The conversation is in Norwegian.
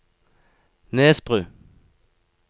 Nesbru